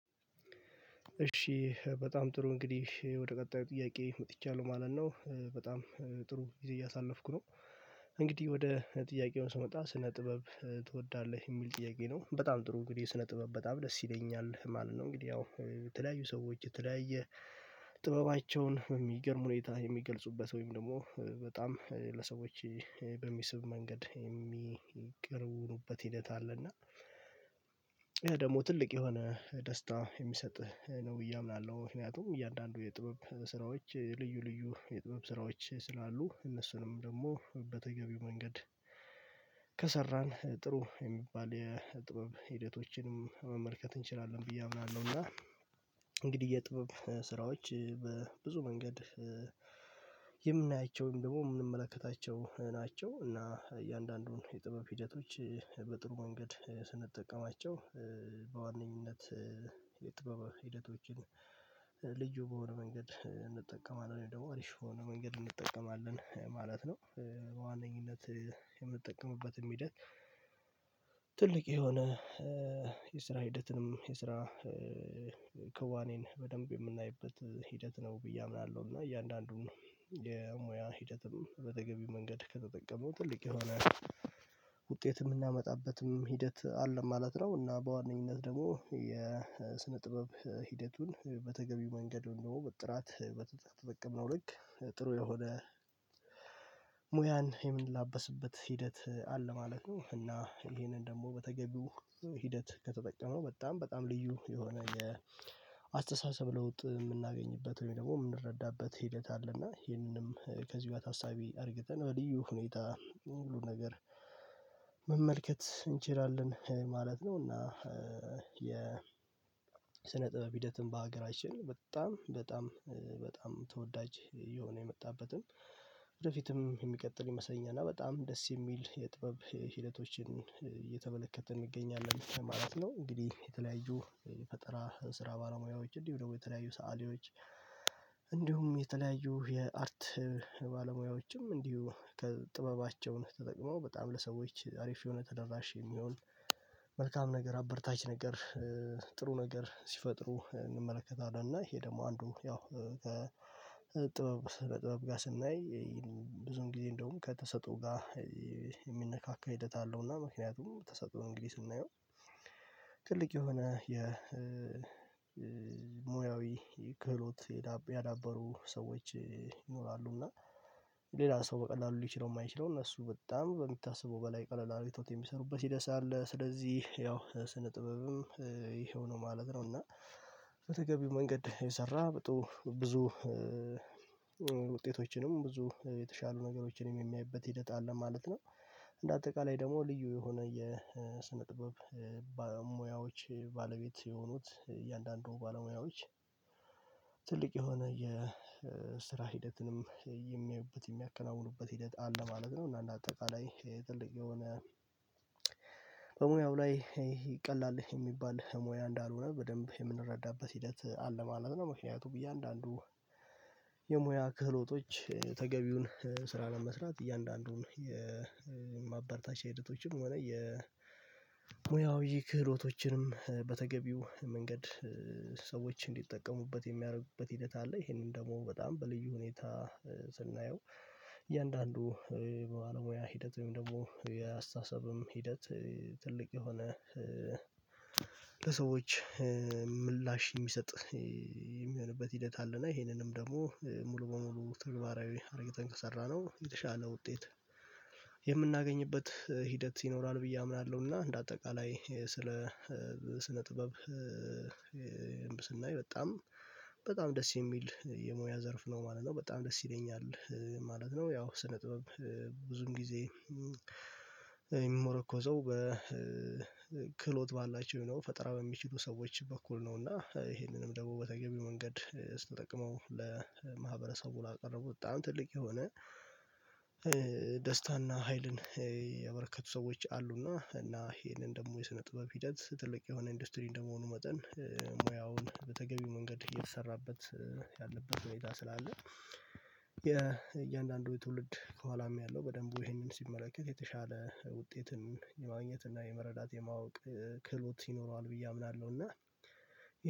እሺ በጣም ጥሩ እንግዲህ ወደ ቀጣዩ ጥያቄ መጥቻለሁ ማለት ነው በጣም ጥሩ ጊዜ እያሳለፍኩ ነው። እንግዲህ ወደ ጥያቄው ስመጣ ስነ ጥበብ ትወዳለህ የሚል ጥያቄ ነው በጣም ጥሩ እንግዲህ ስነ ጥበብ በጣም ደስ ይለኛል ማለት ነው። እንግዲህ ያው የተለያዩ ሰዎች የተለያየ ጥበባቸውን በሚገርም ሁኔታ የሚገልጹበት ወይም ደግሞ በጣም ለሰዎች በሚስብ መንገድ የሚቀርቡበት ሂደት አለና። ይሄ ደግሞ ትልቅ የሆነ ደስታ የሚሰጥ ነው ብየ አምናለሁ ምክንያቱም እያንዳንዱ የጥበብ ስራዎች ልዩ ልዩ የጥበብ ስራዎች ስላሉ እነሱንም ደግሞ በተገቢው መንገድ ከሰራን ጥሩ የሚባል የጥበብ ሂደቶችን መመልከት እንችላለን ብዬ አምናለሁ። እና እንግዲህ የጥበብ ስራዎች በብዙ መንገድ የምናያቸውም ደግሞ የምንመለከታቸው ናቸው እና እያንዳንዱን የጥበብ ሂደቶች በጥሩ መንገድ ስንጠቀማቸው በዋነኝነት የጥበብ ሂደቶችን ልዩ በሆነ መንገድ እንጠቀማለን ደግሞ አሪፍ የሆነ መንገድ እንጠቀማለን ማለት ነው። በዋነኝነት የምጠቀምበትም ሂደት ትልቅ የሆነ የስራ ሂደትም የስራ ክዋኔን በደንብ የምናይበት ሂደት ነው ብዬ አምናለሁና እያንዳንዱን የሙያ ሂደትም በተበገቢው መንገድ ከተጠቀሙ ትልቅ የሆነ ውጤት የምናመጣበትም ሂደት አለ ማለት ነው። እና በዋነኝነት ደግሞ የስነ ጥበብ ሂደቱን በተገቢው መንገድ ወይም ደግሞ ጥራት በተጠቀምነው ልክ ጥሩ የሆነ ሙያን የምንላበስበት ሂደት አለ ማለት ነው። እና ይሄንን ደግሞ በተገቢው ሂደት ከተጠቀመ በጣም በጣም ልዩ የሆነ የአስተሳሰብ ለውጥ የምናገኝበት ወይም ደግሞ የምንረዳበት ሂደት አለና ይህንንም ከዚሁ ጋር ታሳቢ አድርገን በልዩ ሁኔታ ሁሉን ነገር መመልከት እንችላለን ማለት ነው። እና ስነ ጥበብ ሂደትም በሀገራችን በጣም በጣም በጣም ተወዳጅ እየሆነ የመጣበትም ወደፊትም የሚቀጥል ይመስለኛል እና በጣም ደስ የሚል የጥበብ ሂደቶችን እየተመለከትን እንገኛለን ማለት ነው። እንግዲህ የተለያዩ የፈጠራ ስራ ባለሙያዎች እንዲሁ ደግሞ የተለያዩ ሰአሊዎች እንዲሁም የተለያዩ የአርት ባለሙያዎችም እንዲሁ ከጥበባቸውን ተጠቅመው በጣም ለሰዎች አሪፍ የሆነ ተደራሽ የሚሆን መልካም ነገር አበራታች ነገር ጥሩ ነገር ሲፈጥሩ እና ይሄ ደግሞ አንዱ ያው ጥበብ በጥበብ ጋር ስናይ ብዙ እንግዲህ እንደውም ከተሰጥኦ ጋር የሚነካካ ሂደት አለውና ምክንያቱም ተሰጥኦ እንግዲህ ስናየው የሆነ የሙያዊ ክህሎት ያዳበሩ ሰዎች ይኖራሉ እና ሌላ ሰው በቀላሉ ሊችለው የማይችለውን እነሱ በጣም በሚታሰበው በላይ ቀለል አርገውት የሚሰሩበት ሂደት አለ ስለዚህ ያው ስነ ጥበብም ይሄው ነው ማለት ነው። እና በተገቢው መንገድ የሰራ ብዙ ውጤቶችንም ብዙ የተሻሉ ነገሮችንም የሚያይበት ሂደት አለ ማለት ነው። እንደ አጠቃላይ ደግሞ ልዩ የሆነ የስነ ጥበብ ሞያዎች ባለቤት የሆኑት እያንዳንዱ ባለሙያዎች ትልቅ የሆነ የስራ ሂደትንም የሚያዩበት የሚያከናውኑበት ሂደት አለ ማለት ነው እና በአጠቃላይ ጥልቅ የሆነ በሙያው ላይ ይሄ ቀላል የሚባል ሙያ እንዳልሆነ በደንብ የምንረዳበት ሂደት አለ ማለት ነው። ምክንያቱም እያንዳንዱ የሙያ ክህሎቶች ተገቢውን ስራ ለመስራት እያንዳንዱን የማበርታቻ ሂደቶችም ሆነ የሙያዊ ክህሎቶችንም በተገቢው መንገድ ሰዎች እንዲጠቀሙበት የሚያደርጉበት ሂደት አለ ይሄንን ደግሞ በጣም በልዩ ሁኔታ ስናየው እያንዳንዱ ባለሙያ ሂደት ደግሞ የአስተሳሰብም ሂደት ትልቅ የሆነ ለሰዎች ምላሽ የሚሰጥ የሚሆንበት ሂደት አለ እና ይሄንንም ደግሞ ሙሉ በሙሉ ተግባራዊ አርግተን ከሰራነው የተሻለ ውጤት የምናገኝበት ሂደት ይኖራል ብዬ አምናለሁ። እና እንደ አጠቃላይ ስለ ስነ ጥበብ ስናይ በጣም በጣም ደስ የሚል የሙያ ዘርፍ ነው ማለት ነው በጣም ደስ ይለኛል ማለት ነው። ያው ስነ ጥበብ ብዙም ጊዜ የሚመረኮዘው በክህሎት ባላቸው ሆነው ፈጠራ በሚችሉ ሰዎች በኩል ነው እና ይሄንንም ደግሞ በተገቢው መንገድ ስንጠቀመው ለማህበረሰቡ ላቀረቡት በጣም ትልቅ የሆነ ደስታና ሀይልን ያበረከቱ ሰዎች አሉና እና ይሄንን ደግሞ የስነ ጥበብ ሂደት ትልቅ የሆነ ኢንዱስትሪ እንደመሆኑ መጠን ሙያውን በተገቢው መንገድ እየተሰራበት ያለበት ሁኔታ ስላለ የእያንዳንዱ ትውልድ ከኋላም ያለው በደንቡ ይሄንን ሲመለከት የተሻለ ውጤትን የማግኘት እና የመረዳት የማወቅ ክህሎት ይኖረዋል ብዬ አምናለሁ። እና